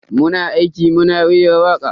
Muna aiki muna rera waka.